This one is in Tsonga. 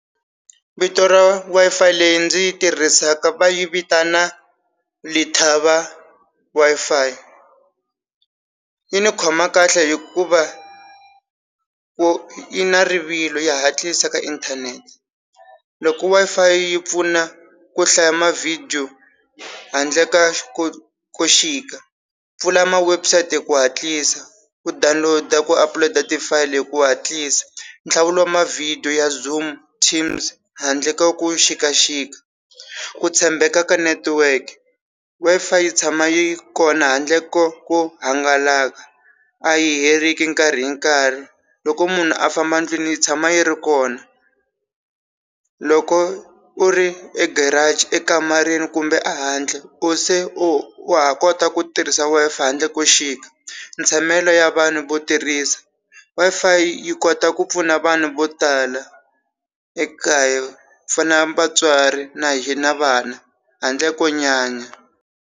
Vito ra Wi-Fi leyi ndzi yi tirhisa ka va yi vitana Lethaba Wi-Fi yi ni khoma kahle hikuva ku yi na rivilo ya hatlisa ka inthanete. Loko Wi-Fi yi pfuna ku hlaya ma-video handle ka pfula ma-website hi ku hatlisa u download ku upload-a ti-file hi ku hatlisa nhlawulo ma-video ya Zoom, Teams handle ka ku xikaxika ku tshembeka ka network Wi-Fi yi tshama yi kona handle ko ku hangalaka a yi heriki nkarhi hi nkarhi loko munhu a famba ndlwini yi tshama yi ri kona loko u ri egiraji ekamareni kumbe ehandle u se u wa ha kota ku tirhisa Wi-FIi handle ko xika, ntshamelo ya vanhu vo tirhisa Wi-Fi yi kota ku pfuna vanhu vo tala ekaya ku fana vatswari na hi na vana handle ko nyanya.